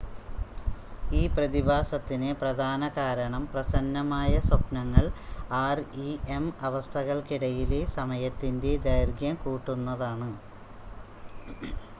ഈ പ്രതിഭാസത്തിന് പ്രധാന കാരണം പ്രസന്നമായ സ്വപ്‌നങ്ങൾ ആർഇഎം അവസ്ഥകൾക്കിടയിലെ സമയത്തിൻ്റെ ദൈർഘ്യം കൂട്ടുന്നതാണ്